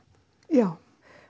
já